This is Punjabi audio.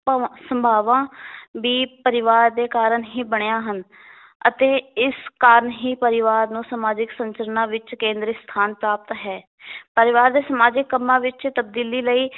ਭਾਵਾਂ, ਸੰਭਾਵਾਂ ਵੀ ਪਰਿਵਾਰ ਦੇ ਕਾਰਨ ਹੀ ਬਣੀਆਂ ਹਨ ਅਤੇ ਇਸ ਕਾਰਨ ਹੀ ਪਰਿਵਾਰ ਨੂੰ ਸਮਾਜਿਕ ਸੰਚਰਨਾ ਵਿੱਚ ਕੇਂਦਰੀ ਸਥਾਨ ਪ੍ਰਾਪਤ ਹੈ ਪਰਿਵਾਰ ਦੇ ਸਮਾਜਿਕ ਕੰਮਾਂ ਵਿਚ ਤਬਦੀਲੀ ਲਈ